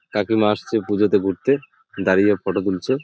কাকিমা আসছে পুজোতে ঘুরতে দাঁড়িয়ে ফটো তুলছে।